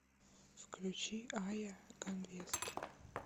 включи айя ганвест